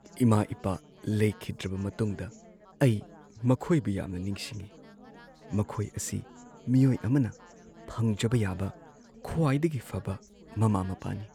ꯏꯃꯥ-ꯏꯄꯥ ꯂꯩꯈꯤꯗ꯭ꯔꯕ ꯃꯇꯨꯡꯗ ꯑꯩ ꯃꯈꯣꯏꯕꯨ ꯌꯥꯝꯅ ꯅꯤꯡꯁꯤꯡꯉꯤ꯫ ꯃꯈꯣꯏ ꯑꯁꯤ ꯃꯤꯑꯣꯏ ꯑꯃꯅ ꯐꯪꯖꯕ ꯌꯥꯕ ꯈ꯭ꯋꯥꯏꯗꯒꯤ ꯐꯕ ꯃꯃꯥ-ꯃꯄꯥꯅꯤ꯫